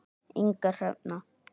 Inga Hrefna.